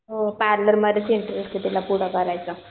हो पार्लर मधेच इंटरेस्ट आहे तिला पुढं करायचं.